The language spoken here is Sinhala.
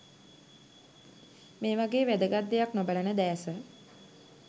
මේවගෙ වැදගත් දේයක් නොබලන දැස